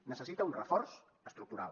necessita un reforç estructural